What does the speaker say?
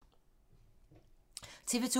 TV 2